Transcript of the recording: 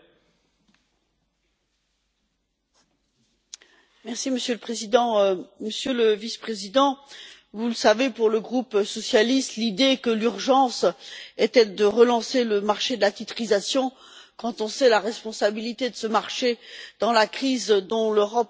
Monsieur le Président, Monsieur le Vice président, vous le savez, pour le groupe socialiste, l'idée que l'urgence était de relancer le marché de la titrisation, quand on sait la responsabilité de ce marché dans la crise dont l'Europe n'est pas encore totalement sortie et dont elle continue à subir